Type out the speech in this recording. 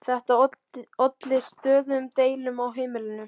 Þetta olli stöðugum deilum á heimilinu.